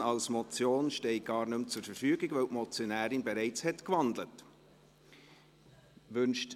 Die Option Motion steht gar nicht mehr zur Verfügung, weil die Motionärin bereits gewandelt hat.